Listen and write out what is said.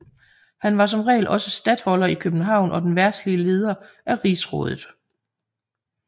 Han var som regel også statholder i København og den verdslige leder af rigsrådet